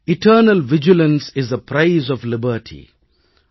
eternal vigilance is the price of liberty